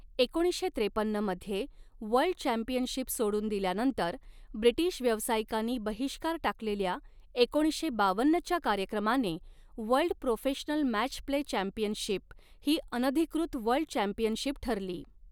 एकोणीसशे त्रेपन्नमध्ये world championship सोडून दिल्यानंतर, ब्रिटीश व्यावसायिकांनी बहिष्कार टाकलेल्या एकोणीसशे बावन्नच्या कार्यक्रमाने, world professional match play championship ही अनधिकृत वर्ल्ड चॅम्पियनशिप ठरली.